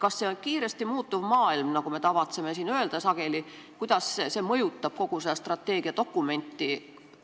Kuidas see kiiresti muutuv maailm, nagu me tavatseme siin sageli öelda, mõjutab kogu strateegiadokumenti?